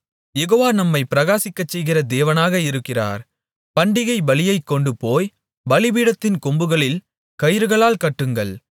யெகோவா நம்மைப் பிரகாசிக்கச்செய்கிற தேவனாக இருக்கிறார் பண்டிகைப் பலியைக் கொண்டுபோய் பலிபீடத்தின் கொம்புகளில் கயிறுகளால் கட்டுங்கள்